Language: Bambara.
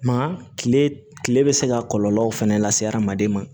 Nka kile kile bɛ se ka kɔlɔlɔw fɛnɛ lase se adamaden ma